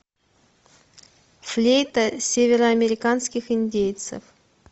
флейта североамериканских индейцев